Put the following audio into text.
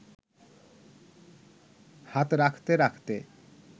হাত রাখতে রাখতে